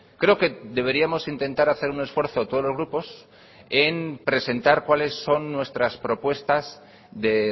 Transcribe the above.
creo que deberíamos intentar hacer un esfuerzo todos los grupos en presentar cuáles son nuestras propuestas de